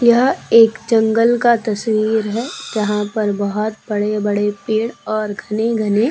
यह एक जंगल का तस्वीर है। यहाँ पर बहोत बड़े-बड़े पेड़ और घने-घने --